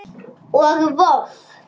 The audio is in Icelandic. og Voff